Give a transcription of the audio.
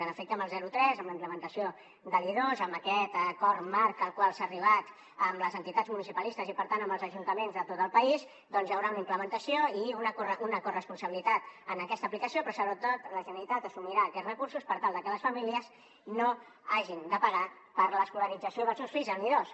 en efecte amb el zero tres amb la implementació de l’i2 amb aquest acord marc al qual s’ha arribat amb les entitats municipalistes i per tant amb els ajuntaments de tot el país doncs hi haurà una implementació i una corresponsabilitat en aquesta aplicació però sobretot la generalitat assumirà aquests recursos per tal de que les famílies no hagin de pagar per l’escolarització dels seus fills en l’i2